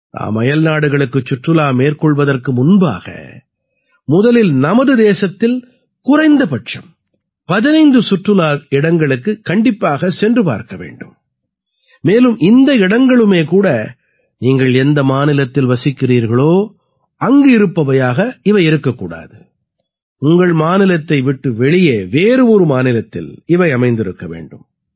நாம் அயல்நாடுகளுக்குச் சுற்றுலா மேற்கொள்வதற்கு முன்பாக முதலில் நமது தேசத்தில் குறைந்த பட்சம் 15 சுற்றுலா இடங்களுக்குக் கண்டிப்பாகச் சென்று பார்க்க வேண்டும் மேலும் இந்த இடங்களுமே கூட நீங்கள் எந்த மாநிலத்தில் வசிக்கிறீர்களோ அங்கிருப்பவையாக இவை இருக்கக்கூடாது உங்கள் மாநிலத்தை விட்டு வெளியே வேறு ஒரு மாநிலத்தில் இவை அமைந்திருக்க வேண்டும்